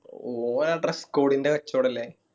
ഓന് ആ dress code ന്റെ കച്ചോടല്ലേ